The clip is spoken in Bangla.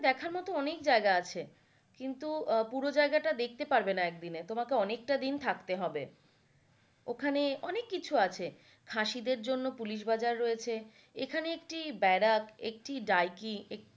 দেখার মত অনেক জায়গা আছে, কিন্তু পুরো জায়গাটা দেখতে পারবেনা একদিনে তোমাকে অনেকটা দিন থাকতে হবে। ওখানে অনেক কিছু আছে খাসিদের জন্য পুলিশ বাজার রয়েছে এখানে একটি বেরাক একটা ডাইকি,